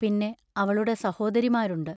പിന്നെ അവളുടെ സഹോദരിമാരുണ്ട്.